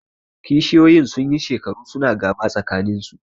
Kishiyoyin sun yi shekaru su na gaba tsakaninsu